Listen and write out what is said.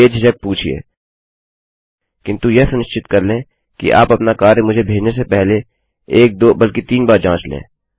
बेझिझक पूछिएकिन्तु यह सुनिश्चित कर लें कि आप अपना कार्य मुझे भेजने से पहले एक दो बल्कि तीन बार जाँच लें